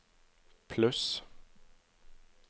pluss